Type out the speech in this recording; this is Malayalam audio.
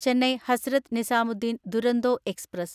ചെന്നൈ ഹസ്രത്ത് നിസാമുദ്ദീൻ ദുരോന്തോ എക്സ്പ്രസ്